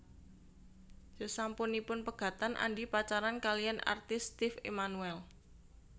Sasampunipun pegatan Andi pacaran kaliyan artis Steve Emmanuel